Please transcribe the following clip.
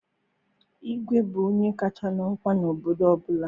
Igwe bụ onye kacha n'ọkwa n'obodo ọbụla.